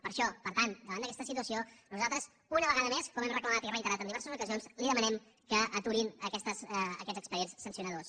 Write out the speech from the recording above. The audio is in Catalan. per això per tant davant d’aquesta situació nosaltres una vegada més com hem reclamat i reiterat en diverses ocasions li demanem que aturin aquests expedients sancionadors